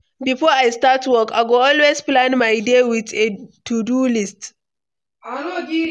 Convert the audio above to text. Before I start work, I go always plan my day with a to-do list.